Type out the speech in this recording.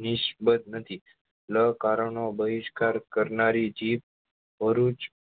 નીશ્બધ નથી લ કાર નો બહિષ્કાર કરનારી જીભ ભરૂચ